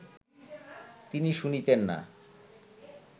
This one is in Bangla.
তিনি শুনিতেন না